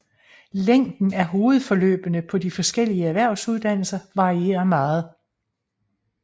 Længden af hovedforløbene på de forskellige erhvervsuddannelser varierer meget